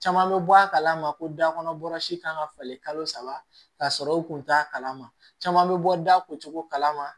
Caman bɛ bɔ a kalama ko da kɔnɔ bɔrɔsi kan ka falen kalo saba ka sɔrɔ u kun t'a kalama caman bɛ bɔ da o cogo kala ma